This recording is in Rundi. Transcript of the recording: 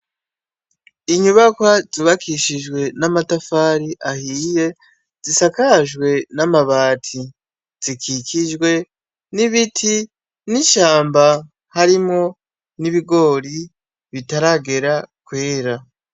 Inyubakwa zubakishije n'amatafari ahiye, zisakajwe n' amabati, zikikujwe n'ibiti, harimwo n'ibigori bitaragera kwera.